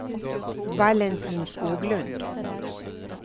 Valentin Skoglund